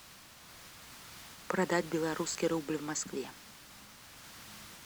продать белорусский рубль в москве